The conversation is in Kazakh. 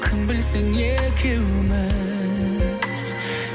кім білсін екеуміз